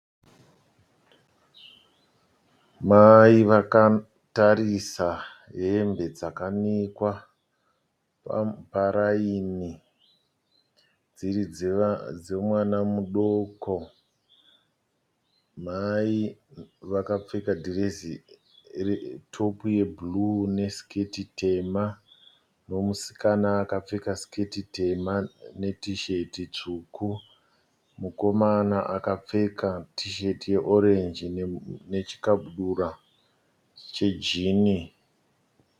Mai vakatarisa hembe dzakanikwa parayini dziri dzemwana mudoko. Mai vakapfeka dhirezi retopu yebhuruu nesiketi tema nomusikana akapfeka siketi tema netisheti tsvuku. Mukomana akapfeka tisheti yeorenji nechikabudura chejini.